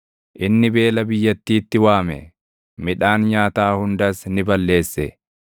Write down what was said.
Inni beela biyyattiitti waame; midhaan nyaataa hundas ni balleesse;